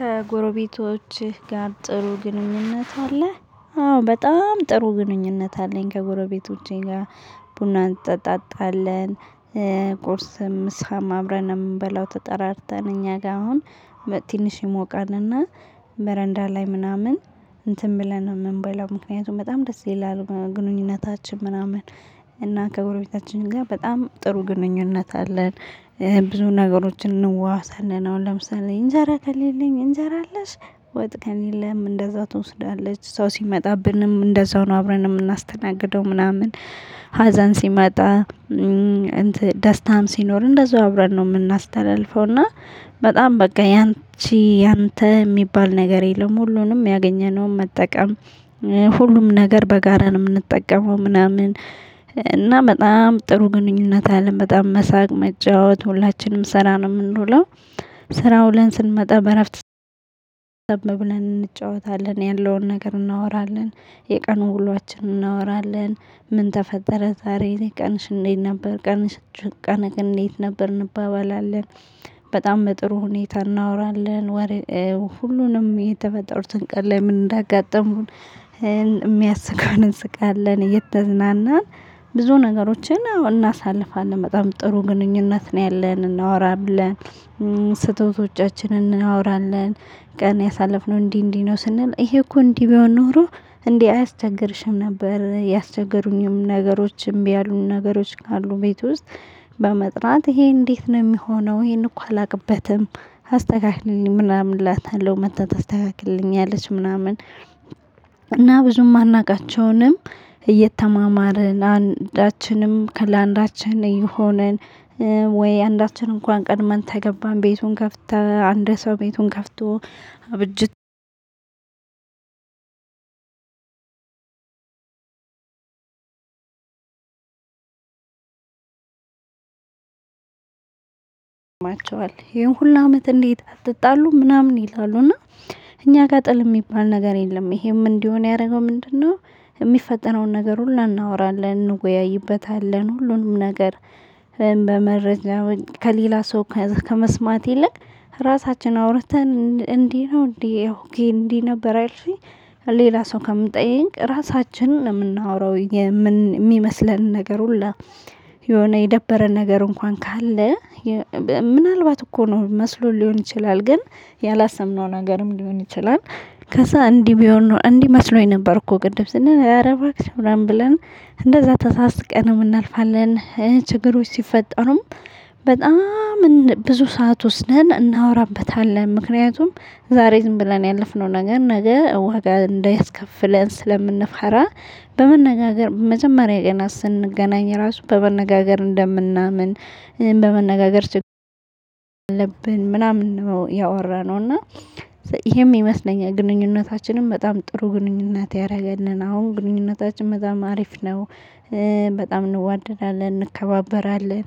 ከጎረቤቶችህ ጋር ጥሩ ግንኙነት አለ አዎ በጣም ጥሩ ግንኙነት አለኝ ከጎረቤቶቼ ጋር። ቡና እንጠጣለን ቁርስም ምሳም አብረን ነው የምንበላው። ተጠራርተን እኛ ጋር አሁን። ትንሽ ይሞቃልና በረንዳ ላይ ምናምን እንትን ብለን ነው የምንበላው ምክንያቱም በጣም ደስ ይላል ግንኙነታችን ምናምን። እና ከጎረቤታችን ጋር በጣም ጥሩ ግንኙነት አለን። ብዙ ነገሮችን እንዋዋሳለን አሁን ለምሳሌ እንጀራ ከሌለኝ እንጀራ አለሽ ወጥ ከሌለም እንደዛ ትወስዳለች ሰው ሲመጣብንም እንደዛው ነው አብረን የምናስተናግደው ምናምን። ሀዘን ሲመጣ ደስታም ሲኖር እንደዛው አብረን ነው የምናስተላልፈው። እና በጣም በቃ ያንቺ ያንተ የሚባል ነገር የለም። ሁሉንም ያገኘነውን መጠቀም ሁሉም ነገር በጋራ ነው የምንጠቀመው ምናምን። እና በጣም ጥሩ ግንኙነት አለም በጣም መሳቅ መጫወት ሁላችንም ስራ ነው የምንውለው። ስራ ውለን ስንመጣ በእረፍት እንጫወታለን ያለውን ነገር እናወራለን። የቀኑ ውሏችንን እናወራለን። ምን ተፈጠረ ዛሬ ቀንሽ እንዴት ነበር ቀንሽ? ቀንህ እንዴት ነበር እንባባላለን። በጣም በጥሩ ሁኔታ እናወራለን ሁሉንም የተፈጠሩትን ቀን ላይ ምን እንዳጋጠሙን። የሚያስቀውን እንስቃለን እየተዝናናን ብዙ ነገሮችን እናሳልፋለን በጣም ጥሩ ግንኙነት ነው ያለን እናወራለን። ስህተቶቻችንን እናወራለን። ቀን ያሳለፍነው እንዲህ እንዲህ ነው ስንል ይሄ እኮ እንዲህ ቢሆን ኖሮ እንዲህ አያስቸግርሽም ነበር ያስቸገሩኝም ነገሮችም ያሉ ነገሮች ካሉ ቤት ውስጥ። በመጥራት ይሄ እንዴት ነው የሚሆነው ይሄን እኮ አላውቅበትም። አስተካክሊልኝ ምናምን እላታለው መታ ታስተካክልልኛለች ምናምን። እና ብዙም ማናቃቸውንም እየተማማርን አንዳችንም ከላንዳችን የሆነን። ወይ አንዳችን እንኳን ቀድመን ከገባን ቤቱን ከፍተን አንድ ሰው ቤቱን ከፍቶ። አብጅት ይገርማቸዋል ይሄን ሁሉ አመት እንዴት አትጣሉም? ምናምን ይላሉ እና እኛ ጋር ጥል የሚባል ነገር የለም። ይሄም እንዲሆን ያደረገው ምንድነው? የሚፈጠረውን ነገር ሁሉ እናወራለን እንወያይበታለን ሁሉንም ነገር። በመረጃ ከሌላ ሰው ከመስማት ይልቅ ራሳችንን አውርተን እንዲህ ነው እንዴ ኦኬ እንዲህ ነበር አ ያልሽኝ። ሌላ ሰው ከምጠይቅ ራሳችንን ነው የምናወራው። የሚመስለን ነገር ሁሉ የሆነ የደበረን ነገር እንኳን ካለ። ምናልባት እኮ ነው መስሎን ሊሆን ይችላል ግን ያላሰብነውም ነገርም ሊሆን ይችላል። ከዛ እንዲህ ቢሆን እንዲህ መስሎኝ ነበር እኮ ቅድም ስንል እረ ባክሽ ምናምን ብለን። እንደዛ ተሳስቀን እናልፋለን ችግሮች ሲፈጠሩም በጣም ብዙ ሰዓት ወስደን እናወራበታለን። ምክንያቱም ዛሬ ዝም ብለን ያለፍነው ነገር ነገ ዋጋ እንዳያስከፍለን ስለምንፈራ። በመነጋገር መጀመሪያ ቀናት ስንገናኝ ራሱ በመነጋገር እንደምናምን በመነጋገር አለብን ምናምን ነው ያወራነው። እና ይሄም ይመስለኛል ግንኙነታችንም በጣም ጥሩ ግንኙነት ያደረገልን አሁን ግንኙነታችን በጣም አሪፍ ነው። በጣም እንዋደዳለን እንከባበራለን።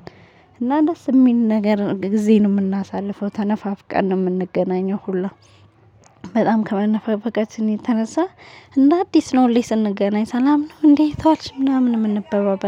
እና ደስ የሚል ነገር ጊዜን የምናሳልፈው ተነፋፍቀን ነው የምንገናኘው ሁላ። በጣም ከመነፈፈቃችን የተነሳ እንደ አዲስ ነው ሁሌ ስንገናኝ ሰላም ነው እንዴት ዋልሽ ምናምን የምንባባለው